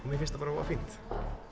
mér finnst það bara voða fínt